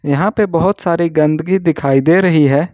यहां पे बहुत सारी गंदगी दिखाई दे रही है।